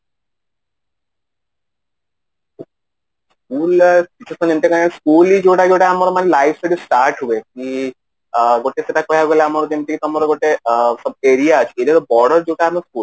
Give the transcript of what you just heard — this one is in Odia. school ରେ କିଛି ସମୟ ପରେ school ଯୋଉଟା ଯୋଉଟା ଆମର ମାନେ life ସେଇଟି start ହୁଏ କି ଗୋଟେ ସେଟା କୁହା ଗଲା କି ଆମର ଯେମିତି କି ତମର ଗୋଟେ Subterfuge ଯୋଉଟା କି ବଡ ଯୋଉଟା ଆମେ